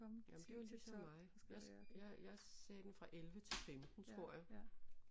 Jamen det var ligesom mig jeg jeg sagde den fra 11 til 15 tror jeg